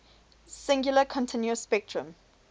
singular continuous spectrum